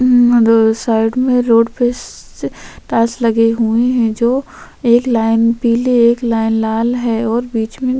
side में road पे तास लगी हुई है जो एक लाइन पीले एक लाइन लाल है और बीच में